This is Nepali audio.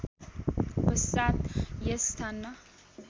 पश्चात यस स्थानमा